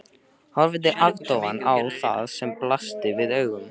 Horfði agndofa á það sem blasti við augum.